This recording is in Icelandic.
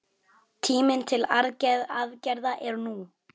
Tíminn til aðgerða er nú!